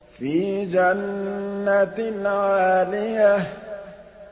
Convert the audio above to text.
فِي جَنَّةٍ عَالِيَةٍ